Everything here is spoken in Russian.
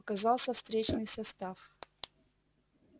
показался встречный состав